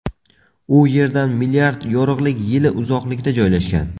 U Yerdan milliard yorug‘lik yili uzoqlikda joylashgan.